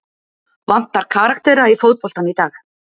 Vantar karaktera í fótboltann í dag?